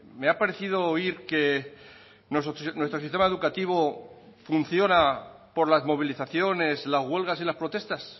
me ha parecido oír que nuestro sistema educativo funciona por las movilizaciones las huelgas y las protestas